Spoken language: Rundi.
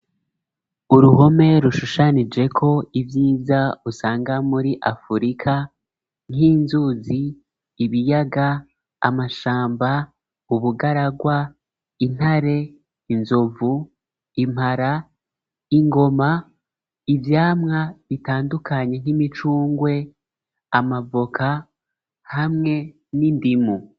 Uruhome rushushanijeko ivyiza usanga muri afurika, nk'inzuzi, ibiyaga, amashamba, ubugaragwa intare, inzovu, impara, ingoma ivyamwa bitandukanye nk'imicungwe, amavoka hamwe n'indimu.